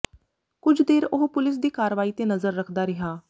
ਕੁਝ ਦੇਰ ਉਹ ਪੁਲੀਸ ਦੀ ਕਾਰਵਾਈ ਤੇ ਨਜ਼ਰ ਰੱਖਦਾ ਰਿਹਾ